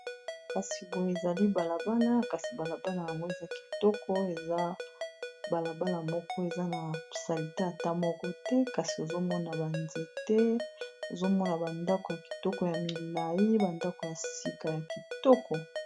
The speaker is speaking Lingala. Kasi boyo ezali balabala kasi balabala yango eza kitoko eza balabala moko eza na salite ata moko te, kasi ozomona ba nzete ozomona ba ndako ya kitoko ya milai ba ndako ya sika ya kitoko.